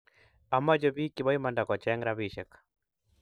Amche pik che bo imanda kocheng rapishek